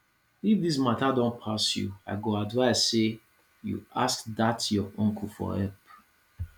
if dis matter don pass you i go advise say you ask dat your uncle for help